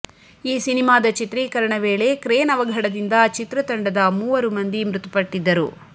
ಈ ಸಿನಿಮಾದ ಚಿತ್ರೀಕರಣ ವೇಳೆ ಕ್ರೇನ್ ಅವಘಡದಿಂದ ಚಿತ್ರತಂಡದ ಮೂವರು ಮಂದಿ ಮೃತಪಟ್ಟಿದ್ದರು